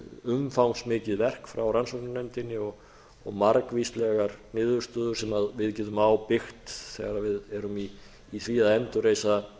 umfangsmikið verk frá rannsóknarnefndinni og margvíslegar niðurstöður sem við getum á byggt þegar við erum í því að endurreisa